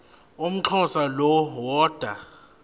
umxhosa lo woda